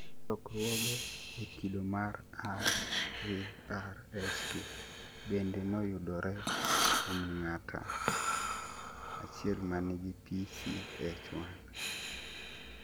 Lokruoge e kido mar RARS2 bende noyudore kuom ng'ata achiel manigi PCH1